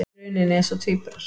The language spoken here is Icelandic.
Í rauninni eins og tvíburar.